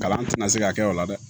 Kalan tɛna se ka kɛ o la dɛ